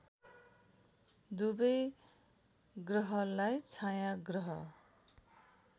दुबै ग्रहलाई छायाँग्रह